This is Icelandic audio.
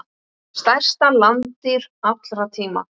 Stærsta landdýr allra tíma.